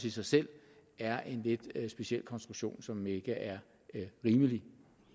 i sig selv er en lidt speciel konstruktion som ikke er rimelig